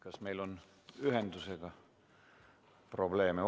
Kas meil on ühendusega probleeme?